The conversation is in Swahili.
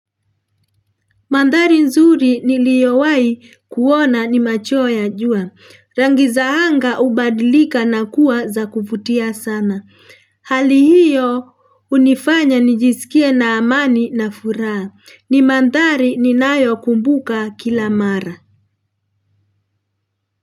Manthari nzuri niliowahii kuona ni macho ya jua. Rangi za anga hubadilika na kuwa za kuvutia sana. Hali hiyo hunifanya nijisikie na amani na furaha. Ni manthari ninayokumbuka kila mara.